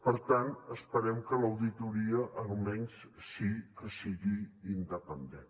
per tant esperem que l’auditoria almenys sí que sigui independent